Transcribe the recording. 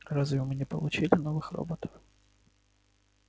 а разве мы не получили новых роботов